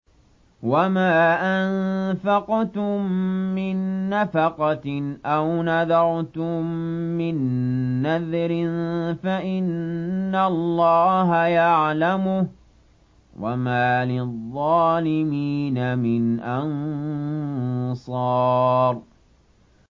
وَمَا أَنفَقْتُم مِّن نَّفَقَةٍ أَوْ نَذَرْتُم مِّن نَّذْرٍ فَإِنَّ اللَّهَ يَعْلَمُهُ ۗ وَمَا لِلظَّالِمِينَ مِنْ أَنصَارٍ